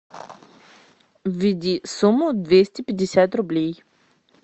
введи сумму двести пятьдесят рублей